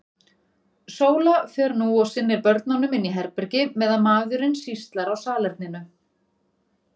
Sóla fer nú og sinnir börnunum inni í herbergi, meðan maðurinn sýslar á salerninu.